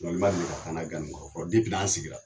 Suɲɛni ma deli ka k' an na ŋa ni kɔrɔ dipi n' an sigira